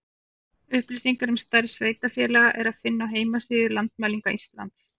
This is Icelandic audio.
Upplýsingar um stærð sveitarfélaga er að finna á heimasíðu Landmælinga Íslands.